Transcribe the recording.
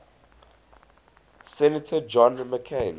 senator john mccain